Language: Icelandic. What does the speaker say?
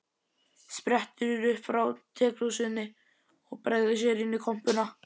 Sprettur upp frá tekrúsinni og bregður sér inn í kompuna.